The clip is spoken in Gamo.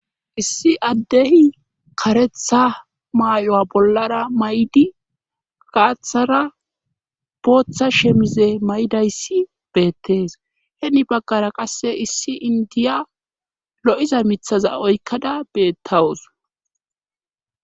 issi addehi karetha maay7oa bollara may7di kaathara bootha shemize may7dayssi beettees heni baggara qasse issi indiya lo7iza mithaza oykkada beettawus